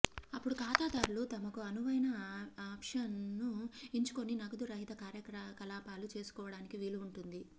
అప్పుడు ఖాతాదారులు తమకు అనువైన ఆప్షన్ను ఎంచుకొని నగదు రహిత కార్యకలాపాలు చేసుకోవడానికి వీలు ఉంటుంది